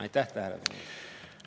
Aitäh tähelepanu eest!